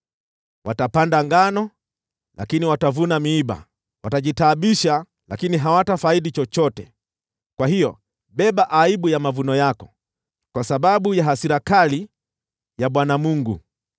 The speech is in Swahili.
Watapanda ngano lakini watavuna miiba; watajitaabisha lakini hawatafaidi chochote. Kwa hiyo beba aibu ya mavuno yako kwa sababu ya hasira kali ya Bwana Mungu.”